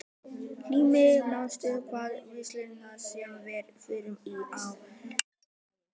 Eldmey, manstu hvað verslunin hét sem við fórum í á laugardaginn?